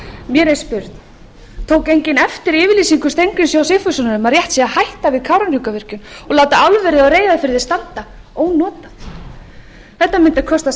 mér er spurn tók enginn eftir yfirlýsingu steingríms j sigfússonar um að rétt sé að hætta við kárahnjúkavirkjun og láta álverið á reyðarfirði standa ónotað þetta mundi kosta